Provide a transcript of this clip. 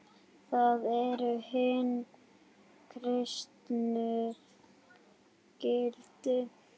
Það eru hin kristnu gildi.